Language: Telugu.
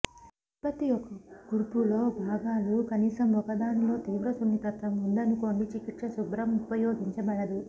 ఉత్పత్తి యొక్క కూర్పు లో భాగాలు కనీసం ఒకదానిలో తీవ్రసున్నితత్వం ఉందనుకోండి చికిత్స శుభ్రం ఉపయోగించబడదు